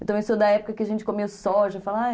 Eu também sou da época que a gente comeu soja.